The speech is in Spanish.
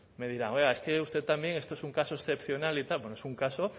me dirá oiga es que usted también esto es un caso excepcional y tal bueno es un caso